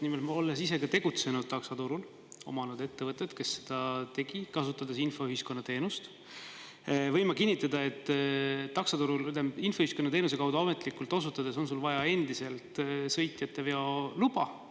Nimelt, olles ise tegutsenud taksoturul, omanud ettevõtet, kes seda tegi, kasutades infoühiskonna teenust, võin ma kinnitada, et infoühiskonna teenuse kaudu ametlikult osutades on endiselt vaja sõitjateveo luba.